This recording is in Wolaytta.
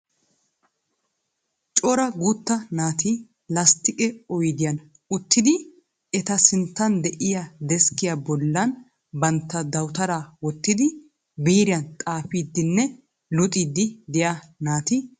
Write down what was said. Cora guutta naati lasttiqe oyidiyan uttidi eta sinttan de'iya deskkiya bollan bantta dawutaraa wottidi biiriyan xaafiiddinne luxiidi diya naati beettoosona.